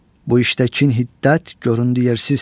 Bu işdə kin-hiddət göründü yersiz.